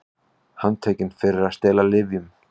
Handtekin fyrir að stela lyfjum